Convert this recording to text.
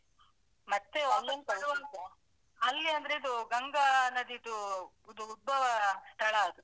ಮತ್ತೆ ವಾಪಸ್ಸು ಬರುವಾಗ ಅಲ್ಲಿ ಅಂದ್ರೆ ಇದು ಗಂಗಾ ನದಿದು ಉದ್ಭವ ಸ್ಥಳ ಅದು.